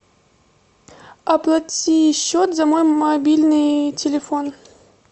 оплати счет за мой мобильный телефон